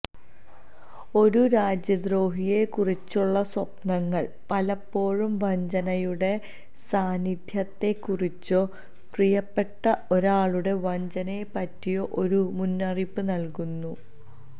ഒരു രാജ്യദ്രോഹിയെ കുറിച്ചുള്ള സ്വപ്നങ്ങൾ പലപ്പോഴും വഞ്ചനയുടെ സാന്നിധ്യത്തെക്കുറിച്ചോ പ്രിയപ്പെട്ട ഒരാളുടെ വഞ്ചനയെപ്പറ്റിയോ ഒരു മുന്നറിയിപ്പ് നൽകുന്നു